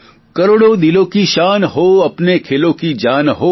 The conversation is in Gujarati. કરોડો દિલોં કી શાન હો અપને ખેલોં કે જાન હો